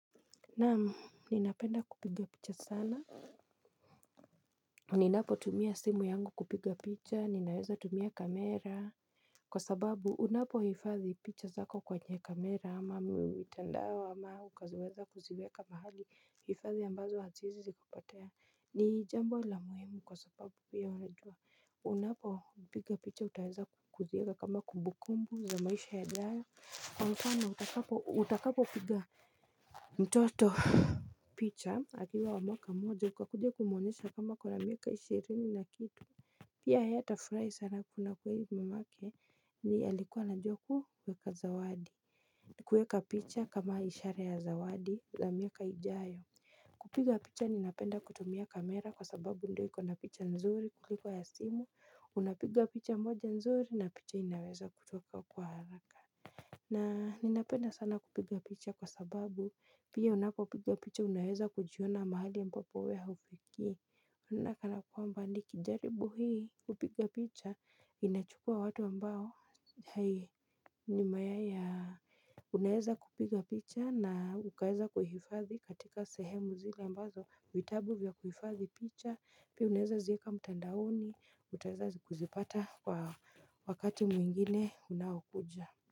Naam ninapenda kupiga picha sana. Ninapo tumia simu yangu kupiga picha ninaweza tumia kamera. Kwa sababu unapo hifadhi picha zako kwenye kamera ama mitandao ambao ama ukaziweza kuziweka mahali. Hifadhi ambazo hazi wezi zikapotea. Ni jambo la muhimu kwa sababu pia unajua. Unapo piga picha utaeza kuziweka kama kumbukumbu za maisha ya jana. Kwa mkano utakapo utakapo piga mtoto picha. Akiwa wa mwaka moja ukakuja kumuonesha kwamba akona miaka ishirini na kitu. Pia yeye atafurahi sana kuna kuwezi mamake ndie alikuwa anajua kuweka zawadi. Kueka picha kama ishara ya zawadi la miaka ijayo. Kupiga picha ninapenda kutumia kamera kwa sababu ndoi ikona picha nzuri kuliko ya simu unapiga picha moja nzuri na picha inaweza kutoka kwa haraka. Na ninapenda sana kupiga picha kwa sababu pia unapopiga picha unaeza kujiona mahali ya mpapo wewe haufiki naona nakana nikijaribu hii kupiga picha inachukua watu ambao hai ni mayai ya unaeza kupiga picha na ukaeza kuhifadhi katika sehemu zile ambazo vitabu vya kuhifadhi picha pia unaeza ziweka mtandaoni utaweza kuzipata kwa wakati mwingine unaokuja.